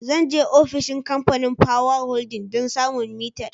Zan je ofishin Kamfanin Power Holding don samun mitar.